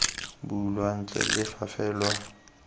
bulwa ntle le fa fela